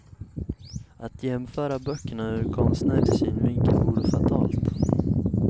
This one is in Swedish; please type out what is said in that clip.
Att jämföra böckerna ur konstnärlig synvinkel vore fatalt.